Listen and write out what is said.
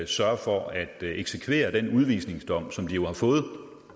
sørger for at eksekvere den udvisningsdom som de jo har fået